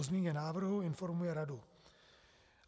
O změně návrhu informuje Radu.